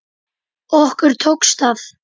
Okkur tókst það.